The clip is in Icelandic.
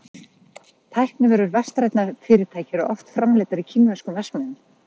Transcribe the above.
tæknivörur vestrænna fyrirtækja eru oft framleiddar í kínverskum verksmiðjum